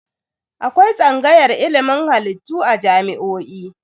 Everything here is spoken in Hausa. Akwai tsangayar ilimin halittu a jami'o'i.